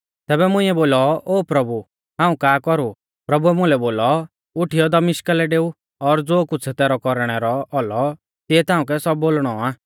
तैबै मुंइऐ बोलौ ओ प्रभु आ हाऊं का कौरु प्रभुऐ मुलै बोलौ उठीयौ दमिश्का लै डेऊ और ज़ो कुछ़ तैरै कौरणै रौ औलौ तिऐ ताउंकै सब बोलणौ आ